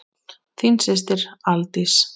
Þín systir, Aldís.